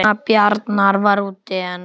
Kona Bjarnar var úti en